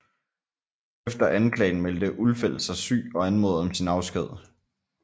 Efter anklagen meldte Ulfeldt sig syg og anmodede om sin afsked